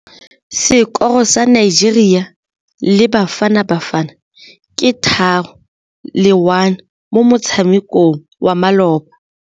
Sekôrô sa Nigeria le Bafanabafana ke 3-1 mo motshamekong wa malôba.